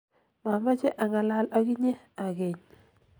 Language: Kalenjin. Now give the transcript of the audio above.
mamoche angalal ak inye akeny.